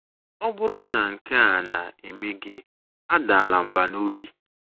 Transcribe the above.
Ọ bụrụ na nke a na - eme gị, adala mbà n’obi!